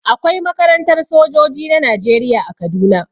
Akwai makarantar sojoji na Najeriya a Kaduna.